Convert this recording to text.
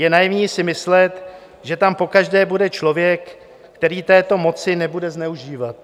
Je naivní si myslet, že tam pokaždé bude člověk, který této moci nebude zneužívat.